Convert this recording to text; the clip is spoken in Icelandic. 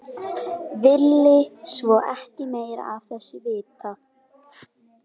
Vill svo ekki meira af þessu vita.